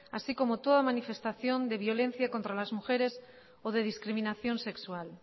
así como toda manifestación de violencia contra las mujeres o de discriminación sexual